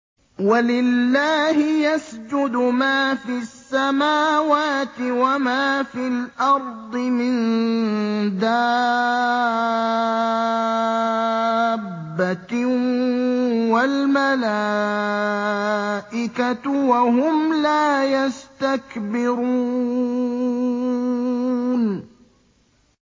وَلِلَّهِ يَسْجُدُ مَا فِي السَّمَاوَاتِ وَمَا فِي الْأَرْضِ مِن دَابَّةٍ وَالْمَلَائِكَةُ وَهُمْ لَا يَسْتَكْبِرُونَ